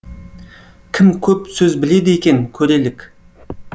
кім көп сөз біледі екен көрелік